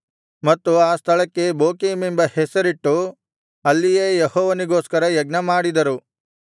ಮತ್ತು ಆ ಸ್ಥಳಕ್ಕೆ ಬೋಕೀಮೆಂಬ ಹೆಸರಿಟ್ಟು ಅಲ್ಲಿಯೇ ಯೆಹೋವನಿಗೋಸ್ಕರ ಯಜ್ಞಮಾಡಿದರು